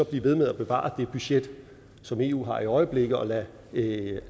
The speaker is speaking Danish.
blive ved med at bevare det budget som eu har i øjeblikket og lade